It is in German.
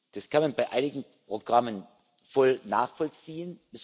Das kann man bei einigen Programmen voll nachvollziehen.